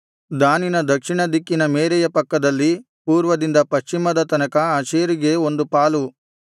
ದಾನಿನ ದಕ್ಷಿಣ ದಿಕ್ಕಿನ ಮೇರೆಯ ಪಕ್ಕದಲ್ಲಿ ಪೂರ್ವದಿಂದ ಪಶ್ಚಿಮದ ತನಕ ಆಶೇರಿಗೆ ಒಂದು ಪಾಲು